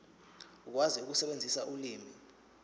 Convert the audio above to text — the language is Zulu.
ukwazi ukusebenzisa ulimi